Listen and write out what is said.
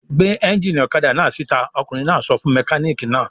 "Gbé ẹ́ńjínì ọ̀kadà náà síta!" Ọkùnrin náà sọ fún mẹkáníkì náà.